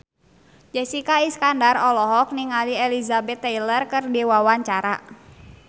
Jessica Iskandar olohok ningali Elizabeth Taylor keur diwawancara